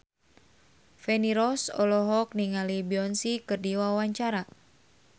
Feni Rose olohok ningali Beyonce keur diwawancara